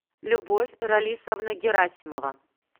любовь ралисовна герасимова